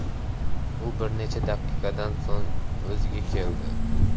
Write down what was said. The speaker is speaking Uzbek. U bir necha daqiqadan so‘ng o‘ziga keldi.